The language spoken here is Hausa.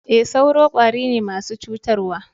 E, sauro kwari ne masu cutarwa.